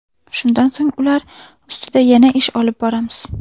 Shundan so‘ng ular ustida yana ish olib boramiz.